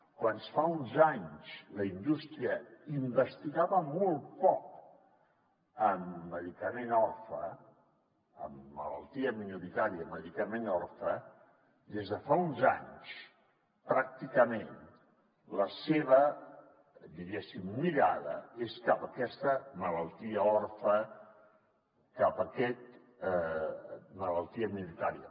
quan fa uns anys la indústria investigava molt poc amb medicament orfe en malaltia minoritària medicament orfe des de fa uns anys pràcticament la seva diguéssim mirada és cap a aquesta malaltia òrfena cap a aquesta malaltia minoritària